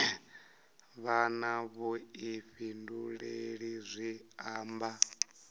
vha na vhuḓifhinduleli zwi amba